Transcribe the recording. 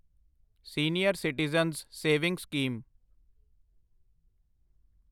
senior citizen savings scheme